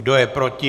Kdo je proti?